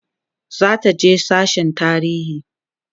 zataje sasshen tarihi